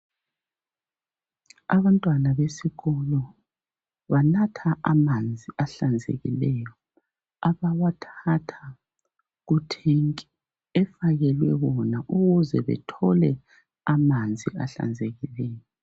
Abantwana besikolo banatha amanzi ahlanzekileyo abawathatha kuthenki efakelwe bona ukuze bethole amanzi ahlanzekileyo.